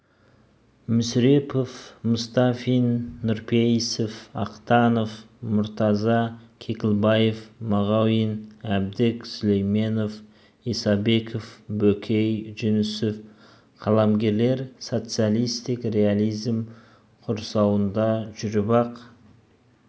мүсірепов мұстафин нұрпейісов ахтанов мұртаза кекілбаев мағауин әбдік сүлейменов исабеков бөкей жүнісов қаламгерлер социалистік реализм құрсауында жүріп-ақ